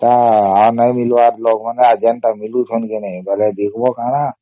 ତ ଏଇ ନାଇଁ ମିଳିବାର ଲୋକ ମାନେ ଆଜି ଯାଏ ତ ମିଳୁଛନ କେ ନାଇଁ ବୋଲେ ଦେଖିବା କଣ